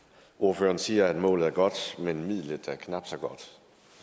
ordføreren siger at målet er godt men midlet er knap så godt